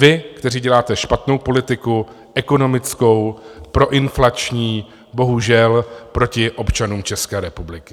Vy, kteří děláte špatnou politiku ekonomickou, proinflační, bohužel proti občanům České republiky.